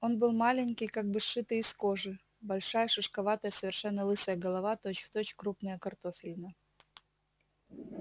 он был маленький как бы сшитый из кожи большая шишковатая совершенно лысая голова точь-в-точь крупная картофелина